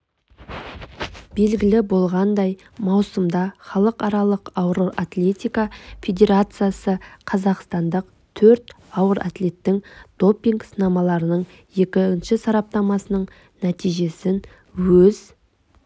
белгілі болғандай маусымда халықаралық ауыр атлетика федерациясы қазақстандық төрт ауыр атлеттің допинг-сынамаларының екінші сараптамасының нәтижесін өз